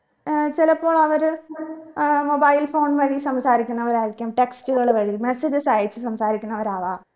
ഏർ ചിലപ്പോൾ അവര് ഏർ mobile phone വഴി സംസാരിക്കുന്നവരായിരിക്കാം text കൾ വഴി messages അയച്ച് സംസാരിക്കുന്നവരവാം